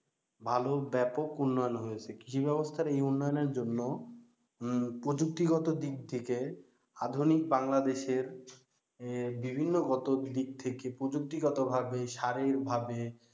ভালো ব্যাপক উন্নয়ন হয়েছে। কৃষি ব্যবস্থার এই উন্নয়নের জন্য প্রযুক্তিগত দিক থেকে আধুনিক বাংলাদেশের বিভিন্ন গত দিক থেকে প্রযুক্তিগত ভাবে, শারীরিক ভাবে,